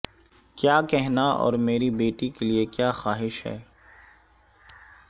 کیا کہنا اور میری بیٹی کے لئے کیا خواہش ہے